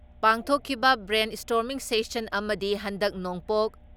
ꯄꯥꯡꯊꯣꯛꯈꯤꯕ brainstorming session ꯑꯃꯗꯤ ꯍꯟꯗꯛ ꯅꯣꯡꯄꯣꯛ